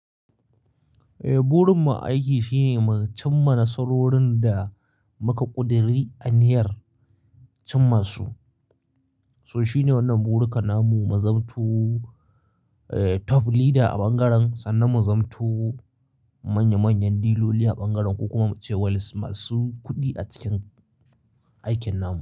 Burin mu a aiki shine mu cimma nasarorin da muka ƙuduri aniyyar cimma su. So shine wannan burikan namu, mazamto top leader a bangaren, sannan mu zamto manya manyan diloli a bangaren, ko kuma ce walis masu kuɗi a cikin aikin namu.